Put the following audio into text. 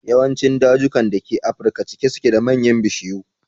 Yawancin dajukan da ke afirka cike suke da manyan bishiyu.